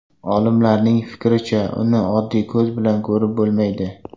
Olimlarning fikricha, uni oddiy ko‘z bilan ko‘rib bo‘lmaydi.